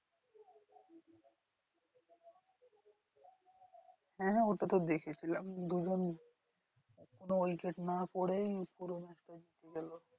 হ্যাঁ হ্যাঁ ওটা তো দেখেছিলাম দুজন কোনো wicket না পরে পুরো match টা জেতালো।